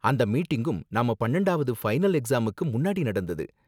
அந்த மீட்டிங்கும் நம்ம பன்னெண்டாவது ஃபைனல் எக்ஸாம்ஸுக்கு முன்னாடி நடந்தது